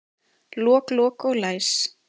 Lok, lok og læs